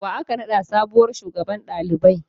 Wa aka naɗa sabuwar shugaban ɗalibai?